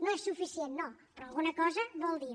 no és suficient no però alguna cosa vol dir